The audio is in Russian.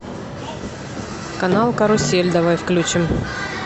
канал карусель давай включим